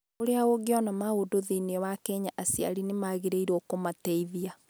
Ũrĩa Ũngĩona Maũndũ Thĩinĩ wa Kenya Aciari nĩ Magĩrĩirũo Kũmateithia